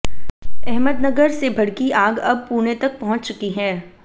अहमदनगर से भड़की आग अब पुणे तक पहुंच चुकी है